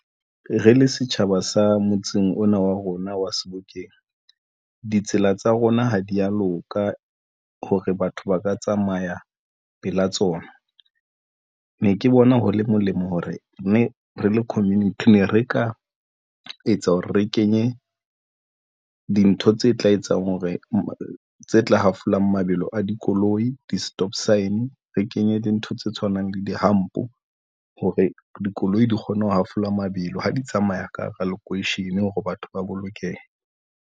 Re le setjhaba sa motseng ona wa rona wa Sebokeng, ditsela tsa rona ha di ya loka hore batho ba ka tsamaya pela tsona. Ne ke bona ho le molemo hore ne re le community ne re ka etsa hore re kenye dintho tse tla etsang hore tse tla hafolang mabelo a dikoloi di-stop sign re kenye dintho tse tshwanang le di-hump hore dikoloi di kgone ho hafola mabelo ha di tsamaya ka hara lekweishene hore batho ba bolokehe.